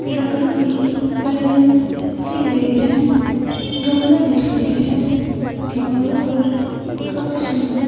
लकड़ी की कलरिंग की गई है गमले दिख रहे हैं दीवारों पर काफी सुंदर --